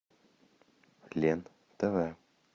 лен тв